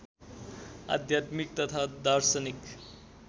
आध्यात्मिक तथा दार्शनिक